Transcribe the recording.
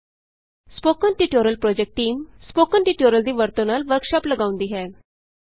spoken tutorial project team spoken tutorial ਦੀ ਵਰਤੋਂ ਨਾਲ ਵਰਕਸ਼ਾਪ ਲਗਾਉਂਦੀ ਹੈ